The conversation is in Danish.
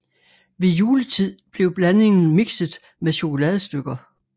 Ved juletid blev blandingen mikset med chokoladestykker